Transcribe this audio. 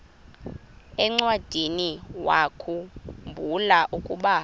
encwadiniwakhu mbula ukuba